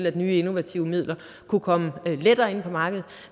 at nye innovative midler kunne komme lettere ind på markedet